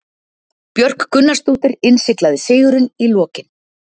Björk Gunnarsdóttir innsiglaði sigurinn í lokin.